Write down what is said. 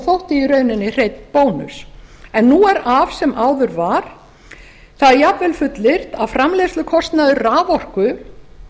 þótti í rauninni hreinn bónus en nú er af sem áður var það er jafnvel fullyrt að framleiðslukostnaður raforku